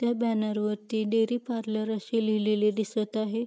त्या बॅनर वरती dairy parlour असे लिहिलेले दिसत आहे.